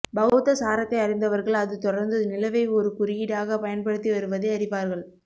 பௌத்த சாரத்தை அறிந்தவர்கள் அது தொடர்ந்து நிலவை ஒரு குறியீடாக பயன்படுத்தி வருவதை அறிவார்கள்